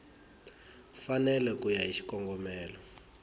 mfanelo ku ya hi xikongomelo